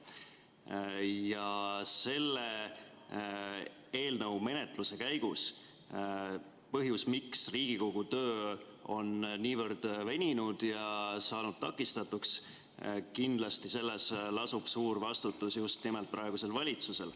Põhjus, miks selle eelnõu menetluse käigus Riigikogu töö on niivõrd veninud ja tõkestunud – kindlasti lasub siin suur vastutus just nimelt praegusel valitsusel.